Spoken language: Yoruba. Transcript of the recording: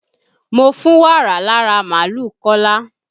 Mo fún wàrà lára máàlúù Kọ́lá.